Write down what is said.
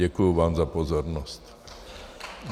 Děkuji vám za pozornost.